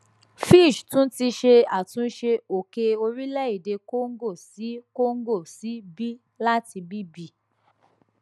fitch tun ti ṣe atunṣe oke orilẹ ede congo si congo si b lati bb